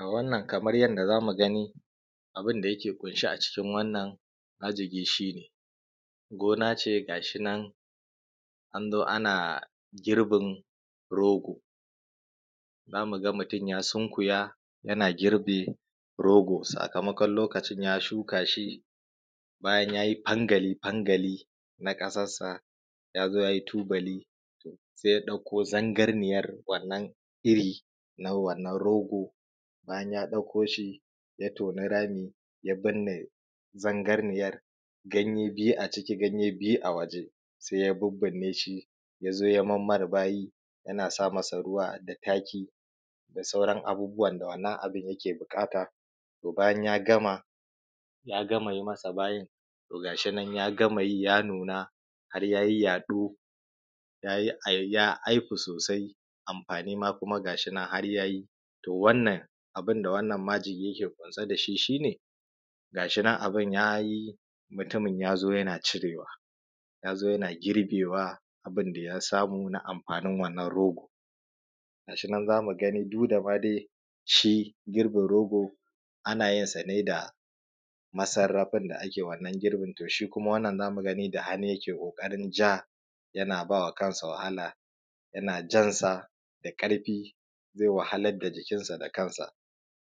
A wannan kamar yadda za mu gani abin da yake ƙunshe a cikin wannan magiji shi ne gona ce ga shi nan an zo ana girbin rogo, za mu ga mutum ya sunkuya yana girbe rogo sakamakon lokacin ya shuka shi bayan ya yi fangali-fangali na ƙasassa ya zo ya yi tubali, se ya ɗauko sangalliyan iri wannan na rogo. Bayan ya ɗauko shi ya toni rami ya binne zangarniyanga ne biyu a ciki ganye bayu a waje, se ya bibbi ne shi ya zo ya mayarbayi yana sa masa ruwa da taki da sauran abubuwan da wannan abun yake buƙata. To, bayan ya gama ya gama yi masa bayi to gashi nan ya gama yi ya nuna har ya yi yaɗo ya yi ai ya haifu sosai, amfani ma gashi nan har ya yi. To, wannan abun da wannan majigi yake ƙunshe da shi, shi ne gashi nan abun ya yi mutumin ya zo yana cire wa ya zo yana girbe wa, abun da ya samu na amfanin wannan rogo ga shi nan za mu gani duk da ma shi girbin rogo ana yin sa ne da masarrafin da ake wannan girbin to shi kuma shi wannan za mu gani da hannu yake ƙoƙarin ja yana ba wa kansa wahala, yana jan sa da ƙarfi ze wahalar da jikin sa da kansa,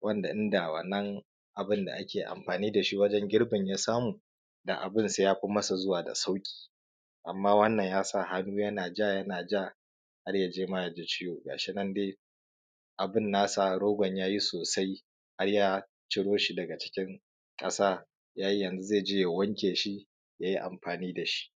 wanda inda wannan abun da ake amfani da shi wajen girbin ya samu da abun se ya fi a sa zama da sauƙi. Amma wannan ya sa hannu yana ja yana ja har ya je ma ya ji ciwo, gashi nan dai abun nasa rogon ya yi sosai har ya ciro shi daga cikin ƙasa ya yanzu ze je ya wanke shi ya yi amfani da shi.